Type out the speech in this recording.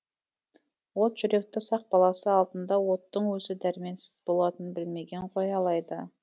от жүректі сақ баласы алдында оттың өзі дәрменсіз болатынын білмеген ғой алайда